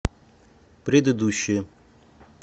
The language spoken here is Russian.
предыдущая